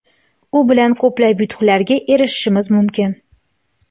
u bilan ko‘plab yutuqlarga erishishimiz mumkin.